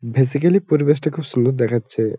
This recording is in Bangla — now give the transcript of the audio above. ভেসিকালি পরিবেশটা বেশ সুন্দর দেখাচ্ছে।